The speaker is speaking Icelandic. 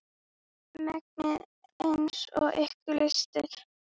Mengið eins og ykkur lystir.